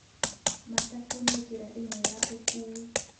Matatu nĩ njĩra ĩmwe ya ũkuui.